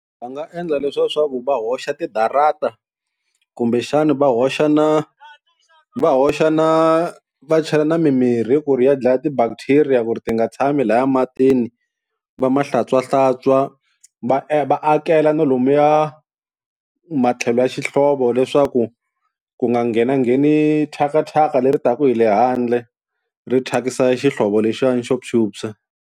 Va nga endla leswa swa ku va hoxa tidarata kumbexana va hoxa na va hoxa na va chela na mimirhi ku ri ya dlaya ti-bacteria ku ri ti nga tshami lahaya matini va ma hlantswahlantswa va va akela na lomuya matlhelo ya xihlovo leswaku ku nga nghenangheni thyaka thyaka leri taka hi le handle ri thyakisa xihlovo lexiwani xo phyuphya.